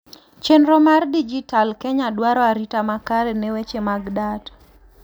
chenro mar dijital kenya dwaro arita makare ne weche mag data